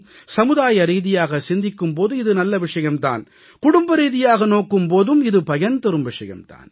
சமுதாயரீதியாக சிந்திக்கும் போதும் இது நல்ல விஷயம் தான் குடும்பரீதியாக நோக்கும் போதும் இது பயன் தரும் விஷயம் தான்